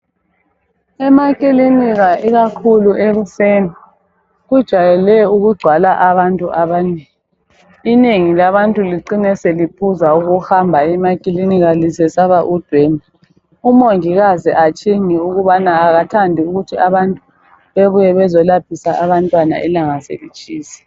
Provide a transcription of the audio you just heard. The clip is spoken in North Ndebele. Emakilinika ikakhulu ekuseni kujwayele ukugcwala abantu abanengi. Inengi labantu licine seliphuza ukuhamba emakilinika lisesaba ukubana kugcwele umongikazi atshinge ukubana akathandi ukuthi abantu bebuye ukuzolaphisa abantwana ilanga selitshisa.